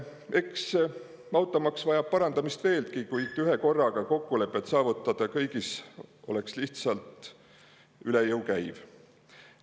Eks automaks vajab parandamist veelgi, kuid ühekorraga kõiges kokkulepet saavutada oleks lihtsalt üle jõu käiv.